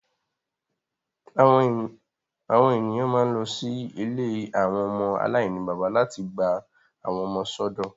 Awọn eniyan ma n lọ si ìlé awọn ọmọ alainibaba lati gba awọn ọmọ sọdọ